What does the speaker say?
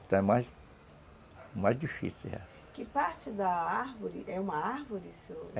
Então é mais... mais difícil, é. Que parte da árvore... é uma árvore, seu...?